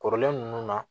Kɔrɔlen ninnu na